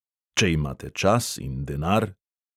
Če imate čas in denar ...